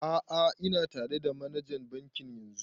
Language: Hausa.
A'a ina tare da manajan bankin yanzun